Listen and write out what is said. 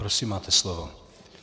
Prosím, máte slovo.